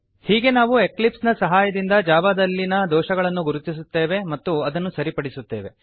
ಹೀಗೆ ನಾವು ಎಕ್ಲಿಪ್ಸ್ ನ ಸಹಾಯದಿಂದ ಜಾವಾದಲ್ಲಿ ನಲ್ಲಿನ ದೋಷವನ್ನು ಗುರುತಿಸುತ್ತೇವೆ ಮತ್ತು ಅದನ್ನು ಸರಿಪಡಿಸುತ್ತೇವೆ